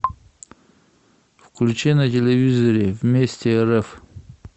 включи на телевизоре вместе рф